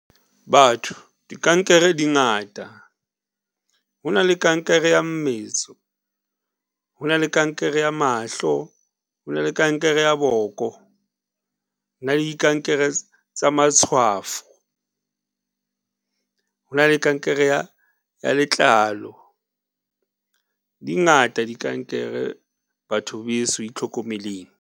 Batho, dikankere dingata ho na le kankere ya mmetso, ho na le kankere ya mahlo, ho na le kankere ya boko, ho na le dikankere tsa matshwafo ho na le kankere ya ya letlalo dingata dikankere batho beso itlhokomeleng.